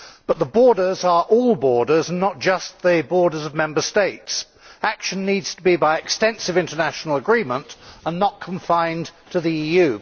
But borders' means all borders, and not just the borders of Member States. Action needs to be by extensive international agreement and not confined to the EU.